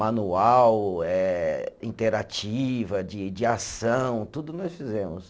Manual eh, interativa, de de ação, tudo nós fizemos.